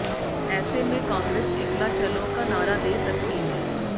ऐसे में कांग्रेस एकला चलो का नारा दे सकती है